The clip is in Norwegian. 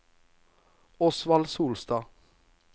Osvald Solstad